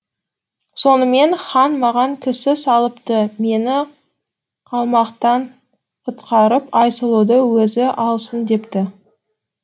сонымен хан маған кісі салыпты мені калмақтан құтқарып айсұлуды өзі алсын депті